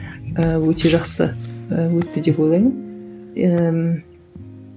ыыы өте жақсы ііі өтті деп ойлаймын ііі